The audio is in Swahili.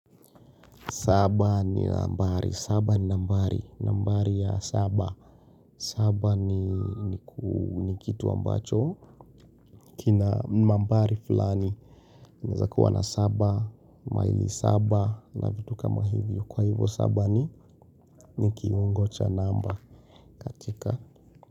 Saba ni nambari, saba ni nambari, nambari ya saba saba ni kitu ambacho kina nambari fulani unaeza kuwa na saba, maili saba na vitu kama hivyo. Kwa hivyo saba ni, ni kiungo cha namba katika.